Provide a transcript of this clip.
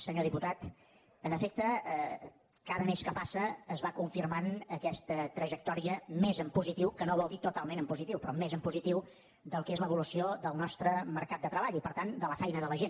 senyor diputat en efecte cada mes que passa es va confirmant aquesta trajectòria més en positiu que no vol dir totalment en positiu però més en positiu del que és l’evolució del nostre mercat de treball i per tant de la feina de la gent